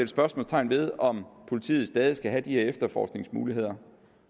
spørgsmålstegn ved om politiet stadig skal have de her efterforskningsmuligheder